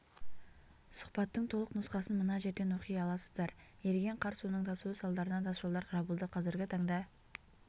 сұхбаттың толық нұсқасын мына жерден оқи аласыздар еріген қар суының тасуы салдарынан тасжолдар жабылды қазіргі таңда